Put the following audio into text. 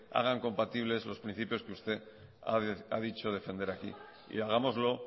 hagan compatible esos principios que usted ha dicho defender aquí y hagámoslo